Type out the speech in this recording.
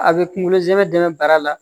A bɛ kunkolo zɛmɛ dɛmɛ bara la